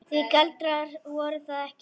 Því galdrar voru það ekki.